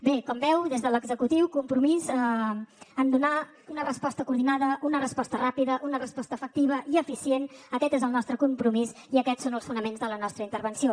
bé com veu des de l’executiu compromís en donar una resposta coordinada una resposta ràpida una resposta efectiva i eficient aquest és el nostre compromís i aquests són els fonaments de la nostra intervenció